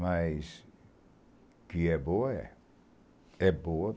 Mas que é boa, é. É boa.